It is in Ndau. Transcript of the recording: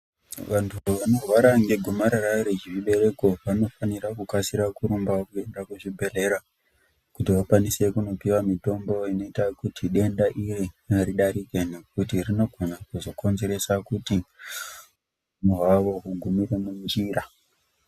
Vantu vanorwara ngegomarara remuchibereko, vanofanira kukasira kurumbawo kuenda kuchibhedhlera kuti vakwanise kundopihwa mitombo inoita kuti denda iri ridarike nekuti rinogona kuzokonzeresa kuti upenyu hwavo hugumire munjira.